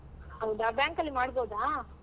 ಹೌದಾ bank ಅಲ್ಲಿ ಮಾಡ್ಬೋದಾ?